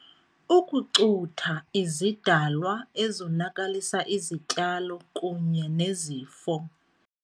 Ukucutha izidalwa ezonakalisa izityalo kunye nezifo.